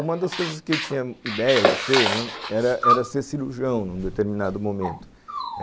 Uma das coisas que eu tinha ideia de ser era ser cirurgião num determinado momento.